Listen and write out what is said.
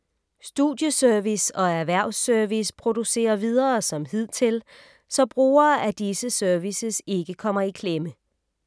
Studieservice og Erhvervs-service producerer videre som hidtil, så brugere af disse services ikke kommer i klemme.